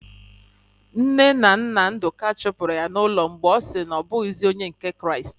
Nne na nna Ndụka chụpụrụ ya n'ụlọ mgbe ọ sị na ọ bụghịzikwa onye otu Kraịst.